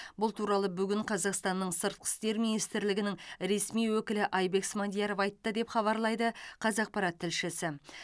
бұл туралы бүгін қазақстанның сыртқы істер министрлігінің ресми өкілі айбек смадияров айтты деп хабарлайды қазақпарат тілшісі